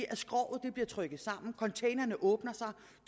at skroget bliver trykket sammen at containerne åbner sig at